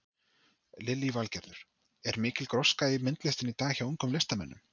Lillý Valgerður: Er mikil gróska í myndlistinni í dag hjá ungum listamönnum?